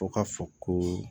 Fɔ ka fɔ ko